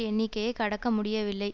எண்ணிக்கையை கடக்க முடியவில்லை